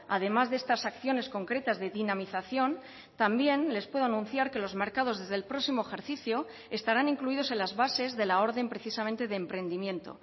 además de estas acciones concretas de dinamización también les puedo anunciar que los mercados desde el próximo ejercicio estarán incluidos en las bases de la orden precisamente de emprendimiento